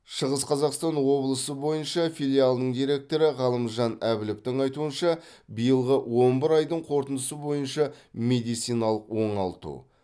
шығыс қазақстан облысы бойынша филиалының директоры ғалымжан әбіловтың айтуынша биылғы он бір айдың қорытындысы бойынша медициналық оңалту